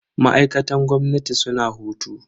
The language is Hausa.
Ma'aikatan gwamnati suna hutu.